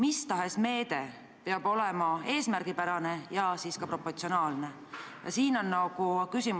Inimelu ei ole kindlasti võimalik korvata ühegi rahanumbriga, aga teatud kompensatsioon sellel puhul tundub olevat üsna loomulik.